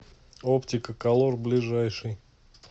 оптика колор ближайший